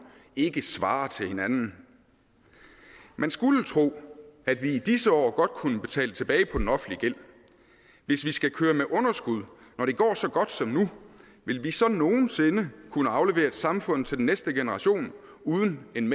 ikke svarer til hinanden man skulle tro at vi i disse år godt kunne betale tilbage på den offentlige gæld hvis vi skal køre med underskud når det går så godt som nu vil vi så nogen sinde kunne aflevere et samfund til næste generation uden en